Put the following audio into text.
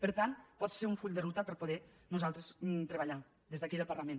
per tant pot ser un full de ruta per poder nosaltres treballar des d’aquí al parlament